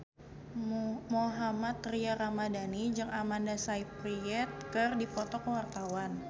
Mohammad Tria Ramadhani jeung Amanda Sayfried keur dipoto ku wartawan